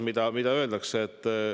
Mida öelda?